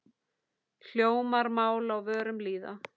Hljómar mál á vörum lýða.